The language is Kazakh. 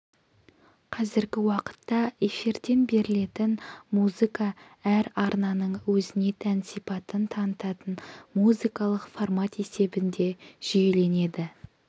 қазіргі уақытта эфирден берілетін музыка әр арнаның өзіне тән сипатын танытатын музыкалық формат есебінде жүйеленеді